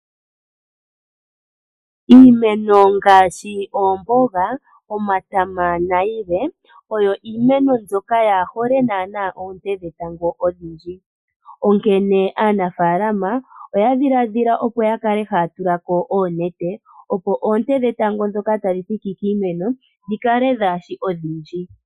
Iimeno ngaaashi oomboga ,omatama nayilwe oyo iimeno mbyoka kayi hole naana oonte dhetango odhindji ,onkene aanafaalama oya dhiladhila opo ya kale haya tula ko oonete opo oonte dhetango ndhoka tadhi thiki kiimeno dhi kale kaadhi shi odhindji.